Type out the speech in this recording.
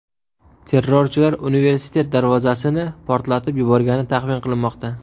Terrorchilar universitet darvozasini portlatib yuborgani taxmin qilinmoqda.